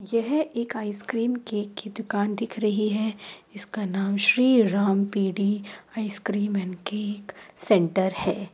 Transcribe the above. यह एक ice cream cake की दुकान दिख रही है। इसका नाम Shri Ram P D ice cream and cake centre है ।